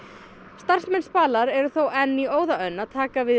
starfsmenn Spalar eru þó enn í óðaönn að taka við